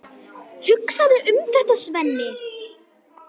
Hugsaðu um þetta, Svenni!